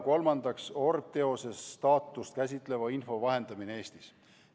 Kolmandaks, orbteose staatust käsitleva info vahendamine Eestis.